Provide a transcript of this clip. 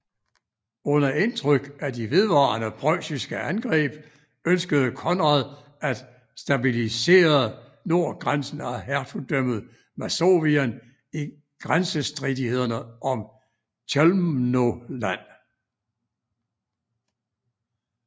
Under indtryk af de vedvarende preussiske angreb ønskede Konrad at stabilisrre nordgrænsen af Hertugdømmet Masovien i grænsestridighederne om Chełmno Land